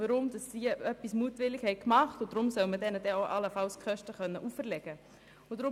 Sie haben etwas mutwillig gemacht, also soll man ihnen die Kosten auferlegen können.